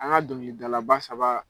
An ŋa dɔŋilidalaba saba